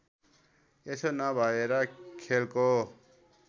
यसो नभएर खेलको